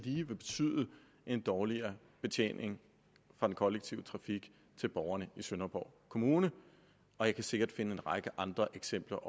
i vil betyde en dårligere betjening fra den kollektive trafik til borgerne i sønderborg kommune jeg kan sikkert også finde en række andre eksempler